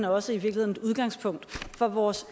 også et udgangspunkt for vores